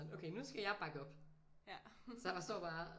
Okay nu skal jeg bakke op så jeg står bare